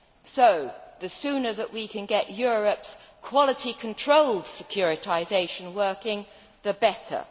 So the sooner that we can get Europe's quality control securitisation working, the better.